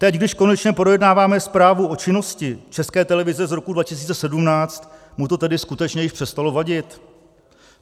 Teď, když konečně projednáváme zprávu o činnosti České televize z roku 2017, mu to tedy skutečně již přestalo vadit?